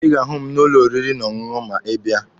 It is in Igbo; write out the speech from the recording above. Ị ga-ahụ m n'ụlọ oriri na ọṅụṅụ ma ịbịa.